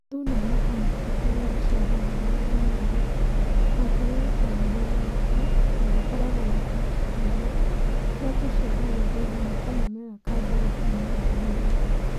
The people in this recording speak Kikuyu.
Thuna nĩ kamũtĩ karĩa gaciaragwo nĩ mĩmera (na makĩria ya famĩrĩ ya nyeki) na gakoragwo na tũhuti tuothe tũrĩa tũciaragwo thutha wa kamũmera ka mbere kuuma mbegũ-inĩ